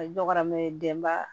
A dɔgɔyara mɛ denba